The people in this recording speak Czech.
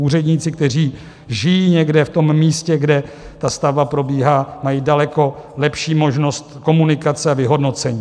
Úředníci, kteří žijí někde v tom místě, kde ta stavba probíhá, mají daleko lepší možnost komunikace a vyhodnocení.